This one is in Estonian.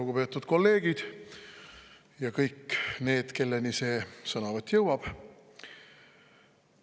Lugupeetud kolleegid ja kõik need, kelleni see sõnavõtt jõuab!